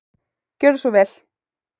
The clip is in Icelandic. Gjörðu svo vel.